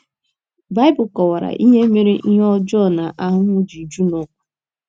Baịbụl kọwara ihe mere ihe ọjọọ na ahụhụ ji ju n’ụwa.